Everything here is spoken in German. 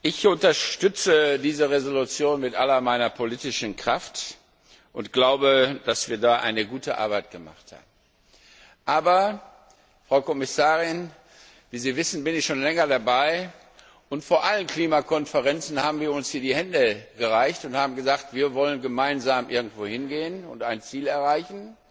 Ich unterstütze diese Entschließung mit all meiner politischen Kraft und glaube, dass wir da eine gute Arbeit geleistet haben. Aber, Frau Kommissarin, wie Sie wissen, bin ich schon länger dabei, und vor allen Klimakonferenzen haben wir uns hier die Hände gereicht und haben gesagt, wir wollen gemeinsam irgendwo hingehen und ein Ziel erreichen,